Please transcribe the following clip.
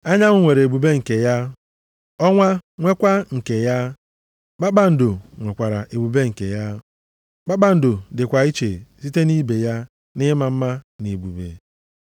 Anyanwụ nwere ebube nke ya, ọnwa nwekwa nke ya, kpakpando nwekwara ebube nke ya. Kpakpando dịkwa iche site nʼibe ya nʼịma mma na ebube.